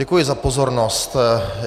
Děkuji za pozornost.